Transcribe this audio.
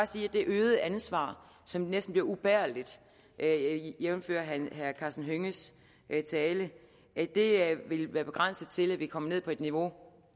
sige at det øgede ansvar som næsten bliver ubærligt jævnfør herre karsten hønges tale vil være begrænset til at vi kommer ned på et niveau